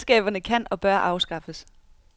Selskaberne kan og bør afskaffes.